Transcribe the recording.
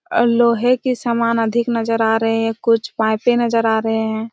और लोहे की समान अधिक नज़र आ रहे है कुछ पाइपे नज़र आ रहे है।